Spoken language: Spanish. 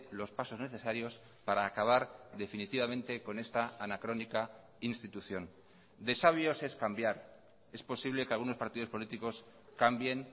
los pasos necesarios para acabar definitivamente con esta anacrónica institución de sabios es cambiar es posible que algunos partidos políticos cambien